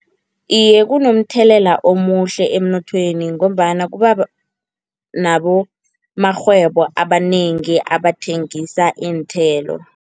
Iye kunomthelela omuhle emnothweni, ngombana kuba nabomarhwebo abanengi abathengisa iinthelo.